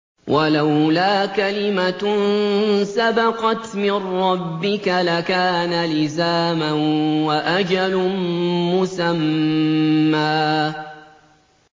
وَلَوْلَا كَلِمَةٌ سَبَقَتْ مِن رَّبِّكَ لَكَانَ لِزَامًا وَأَجَلٌ مُّسَمًّى